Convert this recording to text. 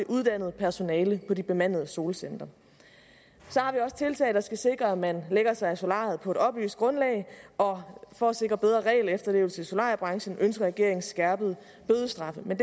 uddannet personale på de bemandede solcentre så har vi også tiltag der skal sikre at man lægger sig i solariet på et oplyst grundlag og for at sikre bedre regelefterlevelse i solariebranchen ønsker regeringen en skærpet bødestraf men